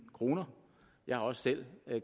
kroner jeg har også selv